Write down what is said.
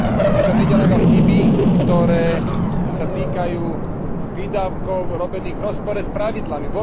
Pritom ide len o chyby, ktoré sa týkajú výdavkov robených v rozpore s pravidlami.